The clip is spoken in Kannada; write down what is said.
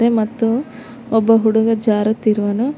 ಅದೇ ಮತ್ತು ಒಬ್ಬ ಹುಡುಗ ಜಾರುತಿರುವನು.